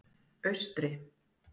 Austri